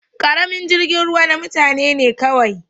Karamin jirgin ruwa na mutane ne kawai.